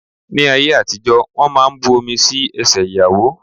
Ní ayé àtijó, wón máa ń bu omi sí ẹsẹ ìyàwó.